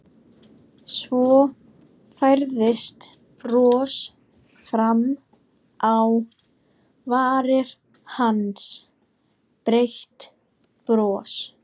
Svo færðist bros fram á varir hans, breitt bros.